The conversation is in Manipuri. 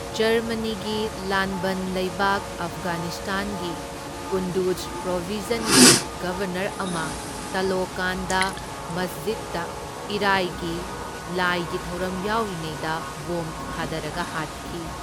ꯖꯔꯃꯅꯤꯒꯤ ꯂꯥꯟꯕꯟ ꯂꯩꯕꯥꯛ ꯑꯐꯒꯥꯅꯤꯁꯇꯥꯟꯒꯤ ꯀꯨꯟꯗꯨꯖ ꯄ꯭ꯔꯣꯕꯤꯟꯁꯀꯤ ꯒꯕꯔꯅꯔ ꯑꯃ ꯇꯥꯂꯣꯀꯥꯟꯗ ꯃꯁꯖꯤꯗꯗ ꯏꯔꯥꯢꯒꯤ ꯂꯥꯢꯒꯤ ꯊꯧꯔꯝ ꯌꯥꯎꯔꯤꯉꯩꯗ ꯕꯣꯝ ꯊꯥꯗꯔꯒ ꯍꯥꯠꯈꯤ꯫